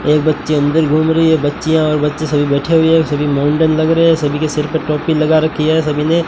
एक बच्ची अंदर घूम रही है बच्चिया और बच्चे सभी बैठे हुए हैं सभी मोमदन लग रहे हैं सभी के सिर पे टोपी लगा रखी है सभी ने।